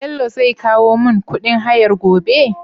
Bello zai kowo mun kuɗin hayar gobe?